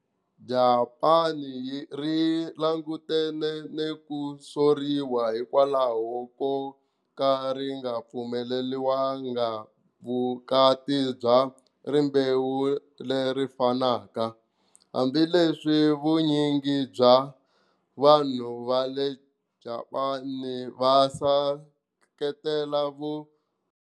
Japani ri langutane ni ku soriwa hikwalaho ko ka ri nga pfumeleliwanga vukati bya rimbewu leri fanaka, hambileswi vunyingi bya vanhu va le Japani va seketela vu.